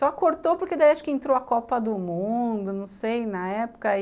Só cortou porque daí acho que entrou a Copa do Mundo, não sei, na época.